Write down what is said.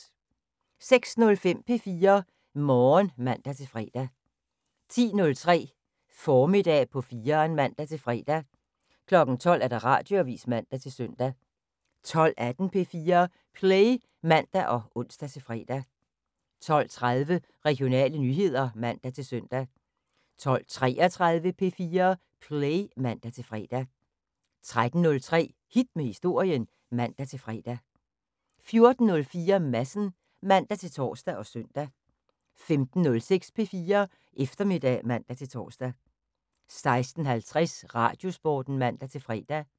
06:05: P4 Morgen (man-fre) 10:03: Formiddag på 4'eren (man-fre) 12:00: Radioavis (man-søn) 12:18: P4 Play (man og ons-fre) 12:30: Regionale nyheder (man-søn) 12:33: P4 Play (man-fre) 13:03: Hit med Historien (man-fre) 14:03: Madsen (man-tor og søn) 15:06: P4 Eftermiddag (man-tor) 16:50: Radiosporten (man-fre)